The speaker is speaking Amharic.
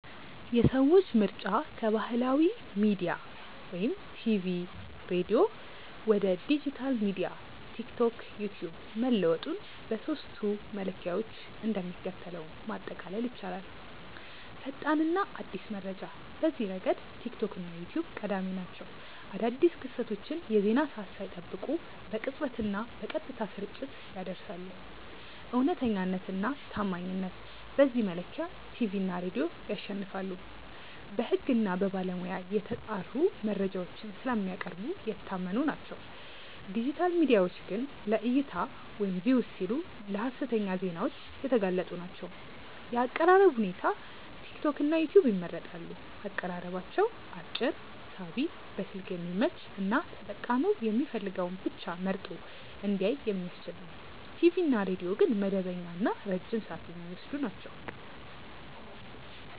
የሰዎች ምርጫ ከባህላዊ ሚዲያ (ቲቪ/ሬዲዮ) ወደ ዲጂታል ሚዲያ (ቲክቶክ/ዩትዩብ) መለወጡን በሦስቱ መለኪያዎች እንደሚከተለው ማጠቃለል ይቻላል፦ ፈጣንና አዲስ መረጃ፦ በዚህ ረገድ ቲክቶክ እና ዩትዩብ ቀዳሚ ናቸው። አዳዲስ ክስተቶችን የዜና ሰዓት ሳይጠብቁ በቅጽበትና በቀጥታ ስርጭት ያደርሳሉ። እውነተኛነትና ታማኝነት፦ በዚህ መለኪያ ቲቪ እና ሬዲዮ ያሸንፋሉ። በሕግና በባለሙያ የተጣሩ መረጃዎችን ስለሚያቀርቡ የታመኑ ናቸው፤ ዲጂታል ሚዲያዎች ግን ለዕይታ (Views) ሲሉ ለሀሰተኛ ዜናዎች የተጋለጡ ናቸው። የአቀራረብ ሁኔታ፦ ቲክቶክና ዩትዩብ ይመረጣሉ። አቀራረባቸው አጭር፣ ሳቢ፣ በስልክ የሚመች እና ተጠቃሚው የሚፈልገውን ብቻ መርጦ እንዲያይ የሚያስችል ነው። ቲቪ እና ሬዲዮ ግን መደበኛና ረጅም ሰዓት የሚወስዱ ናቸው።